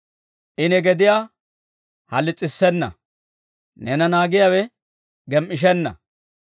I ne gediyaa halis'issenna; neena naagiyaawe gem"ishenna.